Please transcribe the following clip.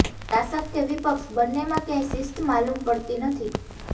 શાસક કે વિપક્ષ બંનેમાં ક્યાંય શિસ્ત માલુમ પડતી નથી